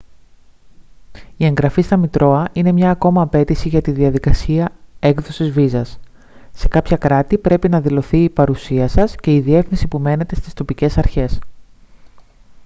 η εγγραφή στα μητρώα είναι μια ακόμα απαίτηση για τη διαδικασία έκδοσης βίζας σε κάποια κράτη πρέπει να δηλωθεί η παρουσία σας και η διεύθυνση που μένετε στις τοπικές αρχές